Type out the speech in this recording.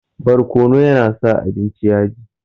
Barkono ya na sa abinci yaji